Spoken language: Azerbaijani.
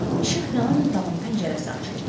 İşıq yanan otağın pəncərəsi açıldı.